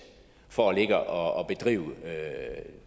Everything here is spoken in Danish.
for at ligge og bedrive